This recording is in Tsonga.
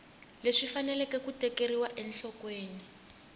leswi faneleke ku tekeriwa enhlokweni